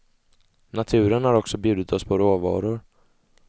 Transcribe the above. Naturen har också bjudit oss på råvaror.